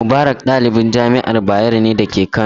Mubarak ɗalibin jami'ar Bayero ne da ke Kano.